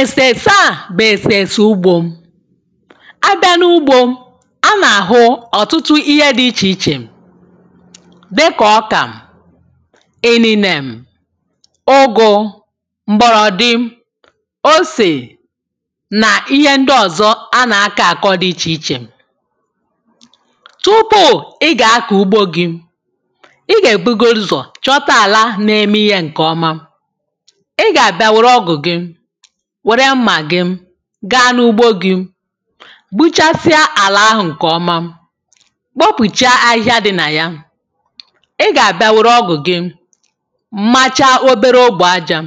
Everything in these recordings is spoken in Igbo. èsèrèse à bụ̀ èsèrèsè ugbȯ a bịa n’ ugbȯ a na-ahụ ọ̀tụtụ ihe dị̀ ichè ichè dịkà ọkà ịnịnè m ụgụ̇ m̀gbọ̀lọ̀dị osè nà ihe ndị ọ̀zọ a nà-akọ̇ akọ dị ichè ichè tupu ị gà-akọ̀ ugbȯ gị ị gà-èbugodu uzọ̀ chọta àla na-eme ihe ǹkè ọma wère mmà gị gaa n’ugbo gị̇ gbuchasịa àlà ahụ̀ ǹkè ọma kpopùcha ahịhịa dị nà ya ị gà-àbịa wère ọgụ̀ gị machaa obere ogbè ajȧ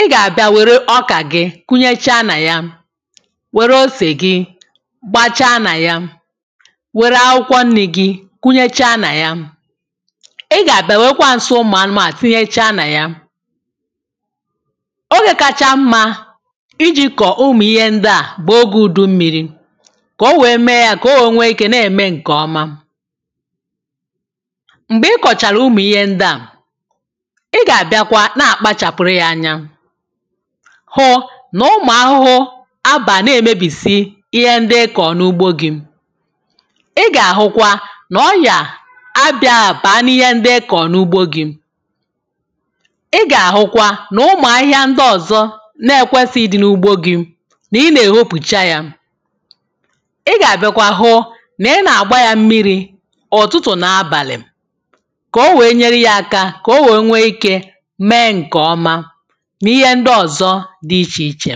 ị gà-àbịa wère ọkà gị kunyecha nà ya wère osè gị gbachaa nà ya wère akwụkwọ nni̇ gị̇ kunyecha nà ya ị gà-àbịa wèrekwa ǹsị ụmụ̀ anụmà tinyechaa nà ya ogė kacha mmȧ iji kọ̀ọ̀ umù ihe ndị à bụ̀ ogė ùdu mmiri̇ kà o wèe mee yȧ kà o wèe nwee ikė na-ème ǹkè ọma m̀gbè ị kọ̀chàrà umù ihe ndị à ị gà-àbịakwa na-àkpachàpụ̀ụrụ ya anya ụ̀hụ nà ụmụ̀ ahụhụ abà na-èmebìsi ihe ndị ị kọ̀ọ̀ n’ugbo gị̇ ị gà-àhụkwa nà ọyà abịa àbàa n’ihe ndị ị kọ̀ọ̀ n’ugbo gị̇ na-ekwėsi̇ ịdị̇ n’ugbȯ gị̇ na ị na-ehe opùcha yȧ ị gàbìkwa hụ na ị na-àgba yȧ mmiri̇ ụ̀tụtụ̀ n’abàlị̀ kà o wèe nyere yȧ aka kà o wèe nwee ike mee ǹkè ọma n’ihe ndị ọ̀zọ dị ichè ichè